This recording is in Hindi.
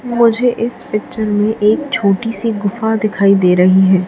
मुझे इस पिक्चर में एक छोटी सी गुफा दिखाई दे रही है।